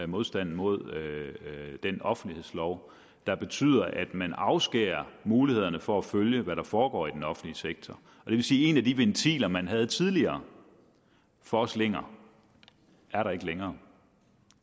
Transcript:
modstanden mod den offentlighedslov der betyder at man afskæres mulighederne for at følge hvad der foregår i den offentlige sektor det vil sige at en af de ventiler man havde tidligere for slinger er der ikke længere